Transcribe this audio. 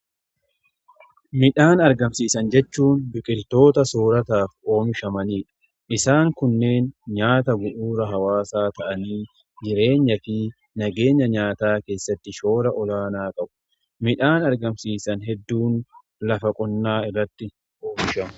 Midhaan argamsiisan jechuun biqiltoota soorataaf oomishamaniidha. Isaan kunneen nyaata gu'uura hawaasaa ta'anii jireenya fi nageenya nyaataa keessatti shoora olaanaa qabu. Midhaan argamsiisan hedduun lafa qonnaa irratti oomishama.